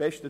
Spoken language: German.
Besten